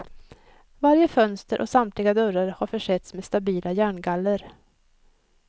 Varje fönster och samtliga dörrar har försetts med stabila järngaller.